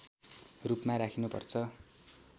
रूपमा राखिनुपर्छ